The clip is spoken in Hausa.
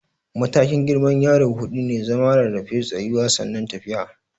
Matakin girman yaro huɗu ne, zama, rarrafe, tsayuwa sannan tafiya.